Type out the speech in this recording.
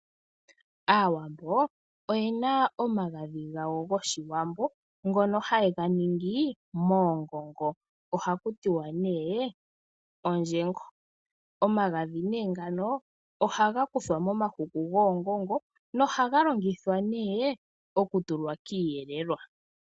Aawambo oyena omagadhi gawo goshiwambo ngono hayega ningi moongongo ohaku tiwa nee ondjengo. Omagadhi ngano ohaga kuthwa momahuku goongongo nohaga longithwa nee okutulwa kiiyelelwa .